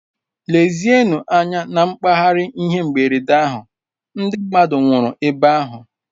Lezienụ anya na mpaghara ihe mberede ahụ, ndị mmadụ nwụrụ ebe ahụ.